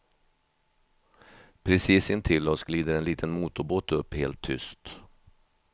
Precis intill oss glider en liten motorbåt upp helt tyst.